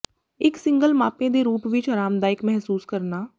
ਇੱਕ ਸਿੰਗਲ ਮਾਪੇ ਦੇ ਰੂਪ ਵਿੱਚ ਆਰਾਮਦਾਇਕ ਮਹਿਸੂਸ ਕਰਨਾ